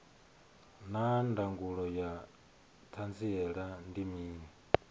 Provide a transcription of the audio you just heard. naa ndangulo ya hanziela ndi mini